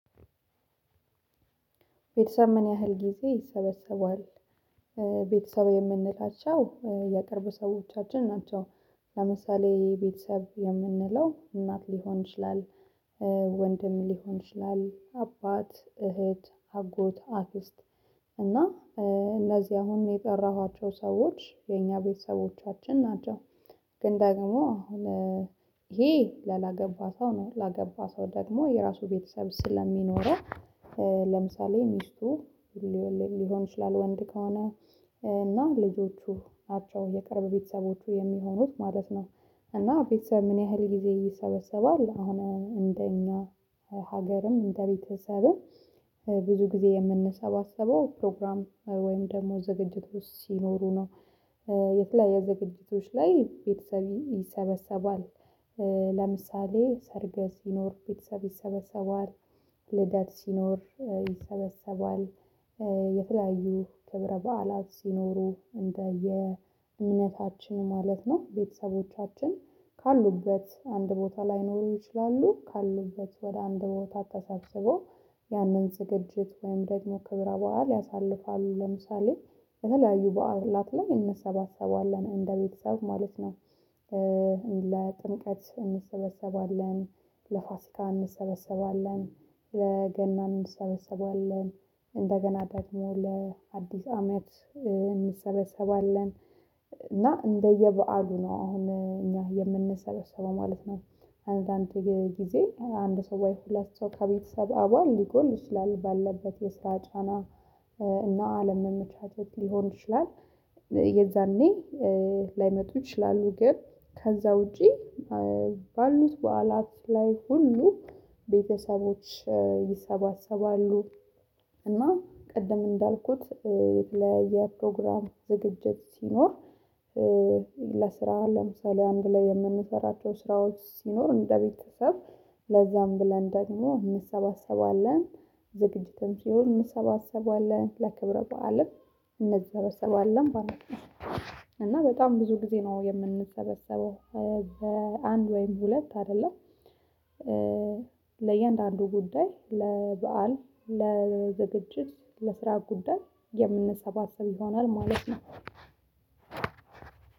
ቤተሰብ ምን ያህል ጊዜ ይሰበሰቧል? ቤተሰብ የምንላቸው የቅርብ ሰዎቻችን ናቸው። ለምሳሌ ቤተሰብ የምንለው እናት ሊሆን ይችላል። ወንድም ሊሆን ይችላል አባት እህት አጎት አክስት እና እነዚህ አሁን የጠራኋቸው ሰዎች የኛ ቤተሰቦቻችን ናቸው። ግን ደግሞ እሄ ያላገባ ሰው ነው ላገባ ሰው ደግሞ የራሱ ቤተሰብ ስለሚኖረው። ለምሳሌ ሚስቱ ሊሆን ይችላል ወንድ ከሆነ እና ልጆቹ ናቸው የቅርብ ቤተሰቦቹ የሚሆኑት ማለት ነው። እና ቤተሰብ ምን ያህል ጊዜ ይሰበሰባል አሁን እንደኛ ሀገርም እንደቤተሰብም ብዙ ግዜ የምንሰባሰበው ፕሮግራም ወይም ደሞ ዝግጅት ውስጥ ሲኖሩ ነው። የተለያየ ዝግጅቶች ላይ ቤተሰብ ይሰበሰባል። ለምሳሌ ሰርግ ሲኖር ቤተሰብ ይሰበሰባል። ልደት ሲኖር ይሰበሰባል። የተለያዩ ክብረ በዓላት ሲኖሩ እንደየ እምነታችን ማለት ነው። ቤተሰቦቻችን ካሉበት አንድ ቦታ ላይኖሩ ይችላሉ ካሉበት ወደ አንድ ቦታ ተሰብስበው ያነን ዝግጅት ወይም ደግሞ ክብር በዓል ያሳልፋሉ። ለምሳሌ በተለያዩ በዓላት ላይ እንሰባሰባለን እንደ ቤተሰብ ማለት ነው። ለጥምቀት እንሰበሰባለን ለፋሲካ እንሰበሰባለን ለገና እንሰበሰባለን እንደገና ደግሞ ለአዲስ አመት እንሰበሰባለን። እንደየበአሉ ነው አሁን እኛ የምንሰበሰበው ማለት ነው። አንዳንድ ጊዜ አንድ ሰው ወይ ሁለት ሰው ከቤተሰብ አባል ሊጎል ይችላል ባለበት የስራ ጫና እና አለመመቻቸት ሊሆን ይችላል። የዛኔ ላይመጡ ይችላሉ ግን ከዛ ውጪ ባሉት በዓላት ላይ ሁሉ ቤተሰቦች ይሰባሰባሉ። እና ቀደም እንዳልኩት የተለያየ ፕሮግራም ዝግጅት ሲኖር። ለስራ ለምሳሌ አንድ ላይ የምንሰራቸው ስራዎች ሲኖር እንደ ቤተሰብ ለዛም ብለን ደግሞ እንሰባሰባለን። ዝግጅትም ሲሆን እንሰባሰባለን ለክብረ በዓልም እንሰበሰባለን ማለት ነው። እና በጣም ብዙ ግዜ ነው የምንሰበሰበው በአንድ ወይም ሁለት አደለም። ለእያንዳንዱ ጉዳይ ለበአል ለዝግጅት ለስራ ጉዳይ የምንሰባሰብ ይሆናል ማለት ነው።